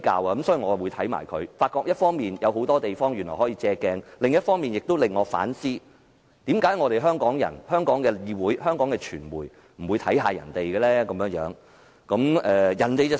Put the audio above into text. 一方面，我認為新加坡的預算案有很多地方可供借鏡；另一方面，它令我反思，為何香港人、香港議會、香港傳媒不參考一下其他國家的做法？